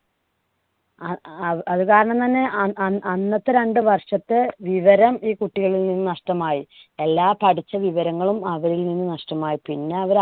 അ അത് അതുകാരണം തന്നെ അ~ അ അന്നത്തെ രണ്ടു വർഷത്തെ വിവരം ഈ കുട്ടികളിൽ നിന്നും നഷ്ടമായി. എല്ലാം പഠിച്ച വിവരങ്ങളും അവരിൽ നിന്ന് നഷ്ടമായി. പിന്നെ അവര്